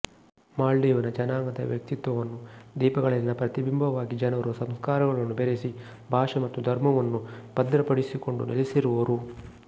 Maldivian ಜನಾಂಗದ ವ್ಯಕ್ತಿತ್ವವನ್ನು ದ್ವೀಪಗಳಲ್ಲಿನ ಪ್ರತಿಬಿಂಬವಾಗಿ ಜನರು ಸಂಸ್ಕಾರಗಳನ್ನು ಬೆರೆಸಿ ಭಾಷೆ ಮತ್ತು ಧರ್ಮವನ್ನು ಭದ್ರಪಡಿಸಿಕೊಂಡು ನೆಲೆಸಿರುವರು